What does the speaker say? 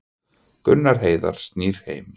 Gunnar Heiðar snýr heim